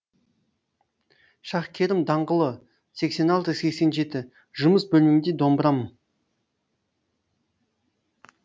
шаһкерім даңғылы сексен алты сексен жеті жұмыс бөлмемде домбырам